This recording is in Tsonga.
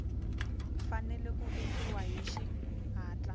fanele ku endliwa hi xihatla